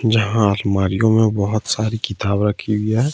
जहां आलमारियों में बहुत सारी किताब रखी हुई है।